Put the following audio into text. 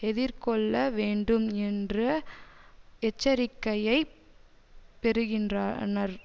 எதிர்கொள்ள வேண்டும் என்ற எச்சரிக்கையை பெறுகின்றானர்